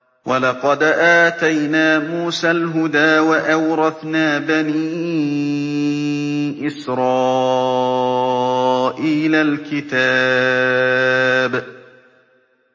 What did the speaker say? وَلَقَدْ آتَيْنَا مُوسَى الْهُدَىٰ وَأَوْرَثْنَا بَنِي إِسْرَائِيلَ الْكِتَابَ